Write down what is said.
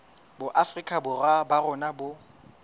boafrika borwa ba rona bo